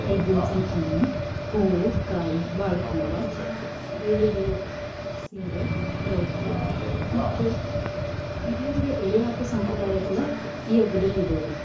ಐದ್ ದಿನ್ಸದ್ ಹಣ್ಣು, ಹೂವು, ಕಾಯಿ, ಬಾಳೆ ಕಂಬ, ದೇವ್ರಿಗೆ ಸೀರೆ, ರವಿಕೆ ಮತ್ತ್ ಹಿರಿಯರಿಗೆ ಎಡೆ ಹಾಕೋ ಸಂಪ್ರದಾಯ ಕೂಡಾ ಈ ಹಬ್ಬದಲ್ಲಿಇದೇರಿ.